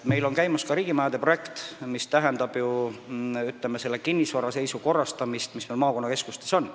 Meil käib ka riigimajade projekt, mis tähendab n-ö kinnisvara seisu korrastamist maakonnakeskustes.